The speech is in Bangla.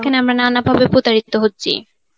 দেখেন আমরা নানা ভাবে প্রতারিত হচ্ছি.